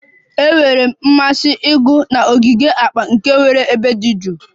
Enwere m mmasị ịgụ na ogige akpa, nke nwere ebe dị jụụ